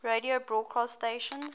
radio broadcast stations